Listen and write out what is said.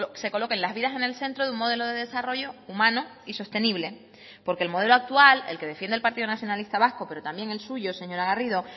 se coloquen las vidas en el centro de un modelo de desarrollo humano y sostenible porque el modelo actual el que defiende el partido nacionalista vasco pero también el suyo señora garrido